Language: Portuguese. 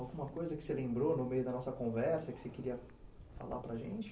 Alguma coisa que você lembrou no meio da nossa conversa, que você queria falar para a gente?